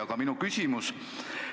Aga minu küsimus.